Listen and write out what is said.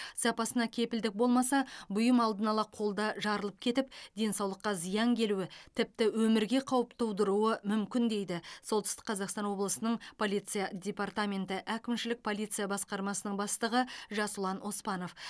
сапасына кепілдік болмаса бұйым алдын ала қолда жарылып кетіп денсаулыққа зиян келуі тіпті өмірге қауіп тудыруы мүмкін дейді солтүстік қазақстан облысының полиция департаменті әкімшілік полиция басқармасының бастығы жасұлан оспанов